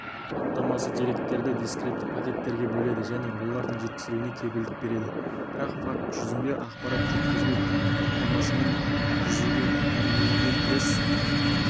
хаттамасы деректерді дискретті пакеттерге бөледі және олардың жеткізілуіне кепілдік береді бірақ факт жүзінде ақпарат жеткізілу хаттамасымен жүзеге денгейінде кіріс